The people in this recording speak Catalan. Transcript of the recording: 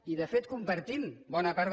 i de fet compartim bona part